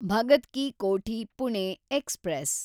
Bhagat ki Kothi Pune express